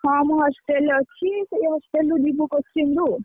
ହଁ, ମୁଁ hostel ରେ ଅଛି ତାପରେ hostel ରୁ ଯିବୁ coaching କୁ ଆଉ,